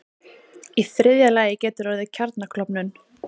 Í þriðja lagi getur orðið kjarnaklofnun.